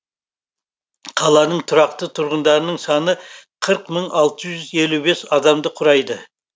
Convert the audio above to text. қаланың тұрақты тұрғындарының саны қырық мың алты жүз елу бес адамды құрайды